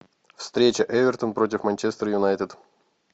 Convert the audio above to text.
встреча эвертон против манчестер юнайтед